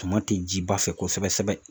Suma tɛ ji ba fɛ kosɛbɛ sɛbɛ